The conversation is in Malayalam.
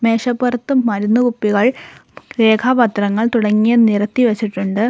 മേശപ്പൊറത്തു മരുന്ന് കുപ്പികൾ രേഖാപ്പത്രങ്ങൾ തുടങ്ങിയ നിരത്തി വച്ചിട്ടുണ്ട്.